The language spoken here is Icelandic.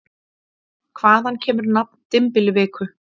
Hvaðan kemur nafn dymbilviku?